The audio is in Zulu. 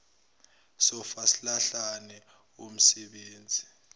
sofa silahlane womsebenzi